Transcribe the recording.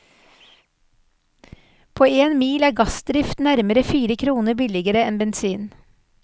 På én mil er gassdrift nærmere fire kroner billigere enn bensin.